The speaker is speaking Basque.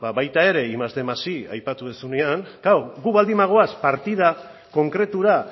ba baita ere batgarren más bostehun más i aipatu duzunean klaro gu baldin bagoaz partida konkretura